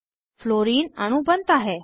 fluorine अणु बनता है